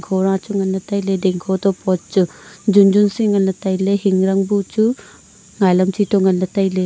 khora chu nganla tailey ding khoto pot chu jumjun si nganla tailey hingrang bu chu ngai lam chi to nganley tailey.